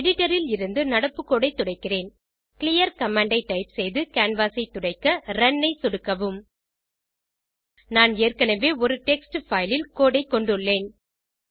editor ல் இருந்து நடப்பு கோடு துடைக்க கிளியர் கமாண்ட் ஐ டைப் செய்து ரன் ஐ சொடுக்கவும் நான் ஏற்கனவே ஒரு டெக்ஸ்ட் பைல் ல் கோடு ஐ கொண்டுள்ளேன்